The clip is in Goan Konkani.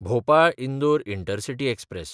भोपाळ–इंदोर इंटरसिटी एक्सप्रॅस